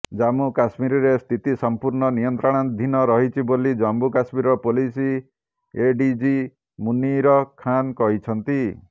ଜମ୍ମୁ କଶ୍ମୀରରେ ସ୍ଥିତି ସମ୍ପୂର୍ଣ୍ଣ ନିୟନ୍ତ୍ରଣାଧୀନ ରହିଛି ବୋଲି ଜମ୍ମୁ କଶ୍ମୀର ପୁଲିସ ଏଡିଜି ମୁନୀର ଖାନ୍ କହିଛନ୍ତି